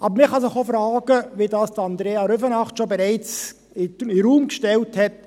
Aber man kann sich auch fragen, wie es Andrea Rüfenacht bereits in den Raum gestellt hat: